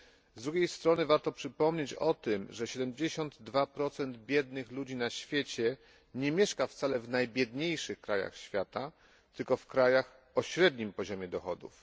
Z drugiej strony warto przypomnieć o tym, że 72 biednych ludzi na świecie nie mieszka wcale w najbiedniejszych krajach świata, tylko w krajach o średnim poziomie dochodów.